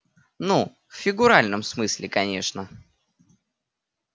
ну в фигуральном смысле конечно